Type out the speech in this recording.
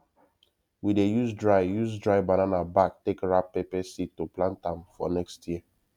we dey use dry use dry banana back take wrap pepper seed to plant am for next year